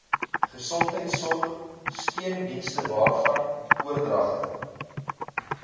gesondheidsorg steundienstewaarvan oordragte